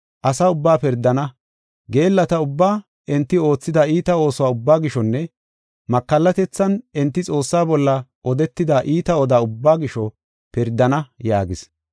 Asa ubbaa pirdana; geellata ubbaa enti oothida iita ooso ubbaa gishonne makallatethan enti Xoossaa bolla odetida iita odaa ubbaa gisho pirdana” yaagis.